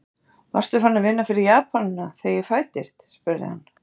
Varstu farinn að vinna fyrir Japanana, þegar ég fæddist? spurði hann.